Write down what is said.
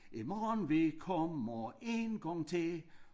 I morgen vi kommer en gang til